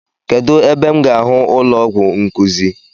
Kedụ ebe m ga ahụ ụlọọgwụ nkuzi?